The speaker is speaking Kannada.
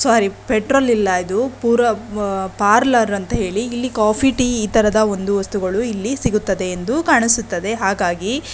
ಸೋರಿ ಪೆಟ್ರೋಲ ಇಲ್ಲ ಇದು ಪುರ ಆಹ್ಹ್ ಪಾರ್ಲರ್ ಅಂತ ಹೇಳಿ ಇಲ್ಲಿ ಕಾಫಿ ಟಿ ಈ ತರದ ಒಂದು ವಸ್ತುಗಳು ಇಲ್ಲಿ ಸಿಗುತ್ತದೆ ಎಂದು ಕಾಣಿಸುತ್ತದೆ ಹಾಗಾಗಿ --